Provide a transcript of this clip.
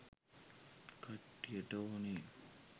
කට්ටියට ඕනේ.